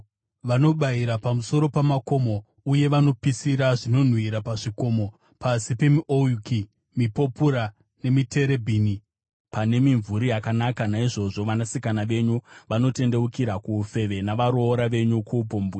Vanobayira pamusoro pamakomo uye vanopisira zvinonhuhwira pazvikomo, pasi pemiouki, mipopura nemiterebhini, pane mimvuri yakanaka. Naizvozvo vanasikana venyu vanotendeukira kuufeve navaroora venyu kuupombwe.